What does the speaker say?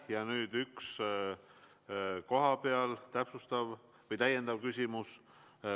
Ja nüüd kohapealt üks täiendav küsimus.